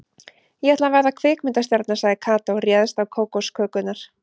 Ég ætla að verða kvikmyndastjarna sagði Kata og réðst á kókoskökurnar.